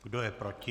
Kdo je proti?